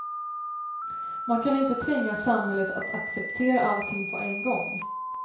Man kan inte tvinga samhället att acceptera allting på en gång.